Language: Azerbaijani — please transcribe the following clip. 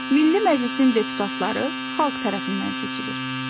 Milli Məclisin deputatları xalq tərəfindən seçilir.